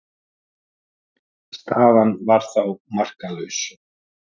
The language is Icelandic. Staðan var þá markalaus.